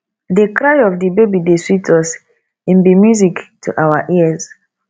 di cry of di baby dey sweet us im be music to our ears